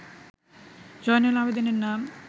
জয়নুল আবেদিনের নাম